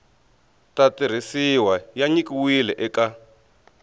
ta tirhisiwa ya nyikiwile eka